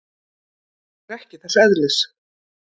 Þetta er ekki þess eðlis.